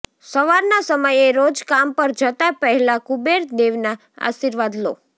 સવારના સમયે રોજ કામ પર જતા પહેલા કુબેર દેવના આશીર્વાદ લો